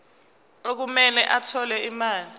okumele athole imali